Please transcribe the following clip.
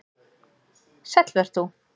Sæll vert þú